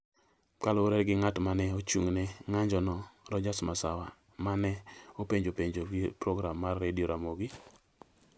kaluwore gi ng’at ma ne ochung’ ne ng’anjono, Rodgers Masawa ma ne openjo penjo gi program mar Radio Ramogi.